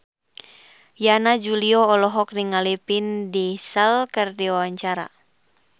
Yana Julio olohok ningali Vin Diesel keur diwawancara